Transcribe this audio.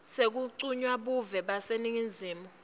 sekuncunywa buve baseningizimu